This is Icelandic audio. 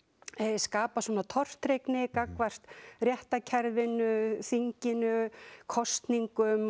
skapa tortryggni gagnvart réttarkerfinu þinginu kosningum